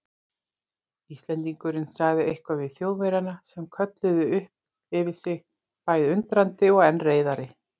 Íslendingurinn sagði eitthvað við Þjóðverjana sem kölluðu upp yfir sig bæði undrandi og enn reiðari.